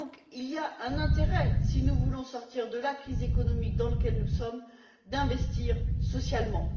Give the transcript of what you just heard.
Il y a donc intérêt, si nous voulons sortir de la crise économique dans laquelle nous sommes, à investir socialement.